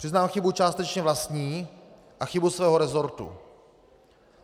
Přiznám chybu částečně vlastní a chybu svého resortu.